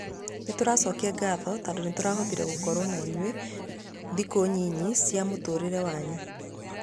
Nĩtũracokia ngatho tondũnĩtũrahotire gũkorwo na inyuĩ thikũnyinyi cia mũtũrĩre wanyu.